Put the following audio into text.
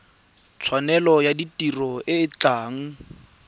tshwanelo ya tiro e tla